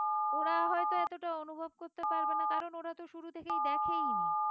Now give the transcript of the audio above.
ওরা হয়তো এতটা অনুভব করতে পারবে না কারণ ওরা তো শুরু থেকেই দেখেই নি